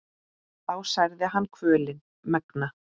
þá særði hann kvölin megna.